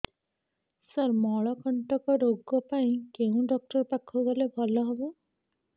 ସାର ମଳକଣ୍ଟକ ରୋଗ ପାଇଁ କେଉଁ ଡକ୍ଟର ପାଖକୁ ଗଲେ ଭଲ ହେବ